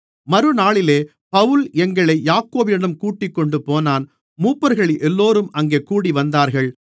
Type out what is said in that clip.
மறுநாளிலே பவுல் எங்களை யாக்கோபிடம் கூட்டிக் கொண்டுபோனான் மூப்பர்களெல்லோரும் அங்கே கூடிவந்தார்கள்